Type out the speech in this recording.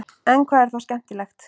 en hvað er þá skemmtilegt